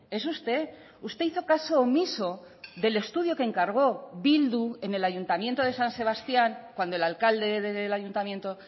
es usted usted hizo caso omiso del estudio que encargó bildu en el ayuntamiento de san sebastián cuando el alcalde del ayuntamiento